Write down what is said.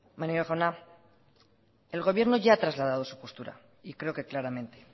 maneiro jauna el gobierno ya ha trasladado su postura y creo que claramente